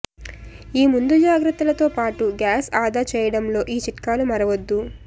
ఈ ముందు జాగ్రత్తలతో పాటు గ్యాస్ ఆదా చేయడంలో ఈ చిట్కాలు మరవద్దు